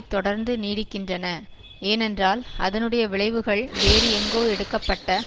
தொடர்ந்து நீடிக்கின்றன ஏனென்றால் அதனுடைய விளைவுகள் வேறு எங்கோ எடுக்க பட்ட